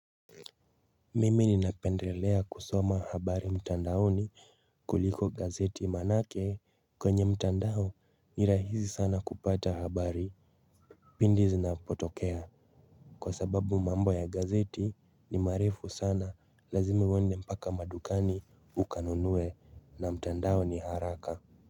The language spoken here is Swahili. Mimi ninapendelea kusoma habari mtandaoni kuliko gazeti manake kwenye mtandao ni rahizi sana kupata habari pindi zinapotokea kwa sababu mambo ya gazeti ni marefu sana lazima uende mpaka madukani ukanunue na mtandao ni haraka.